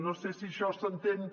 no sé si això s’entén